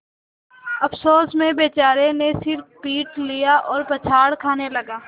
अफसोस में बेचारे ने सिर पीट लिया और पछाड़ खाने लगा